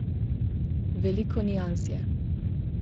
Veliko nians je.